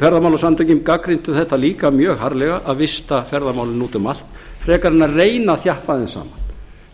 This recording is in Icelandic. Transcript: ferðamálasamtökin gagnrýndu þetta líka mjög harðlega að vista ferðamálin út um allt frekar en að reyna að þjappa þeim saman